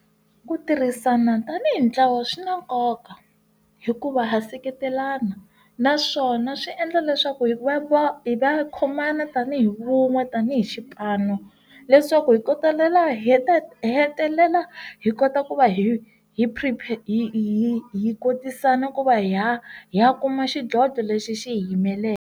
Ku tirhisana tanihi ntlawa swi na nkoka hikuva ha seketelana naswona swi endla leswaku hi va hi va khomana tanihi vun'we tanihi xipano leswaku hi kota talela hi ta hetelela hi kota ku va hi hi prepare hi hi kotisana ku va ha hi ya kuma xidlodlo lexi xi hi yimeleke.